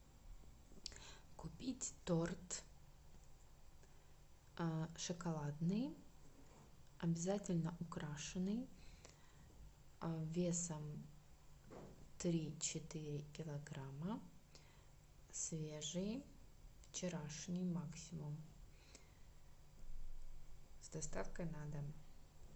купить торт шоколадный обязательно украшенный весом три четыре килограмма свежий вчерашний максимум с доставкой на дом